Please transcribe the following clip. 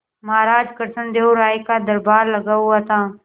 महाराज कृष्णदेव राय का दरबार लगा हुआ था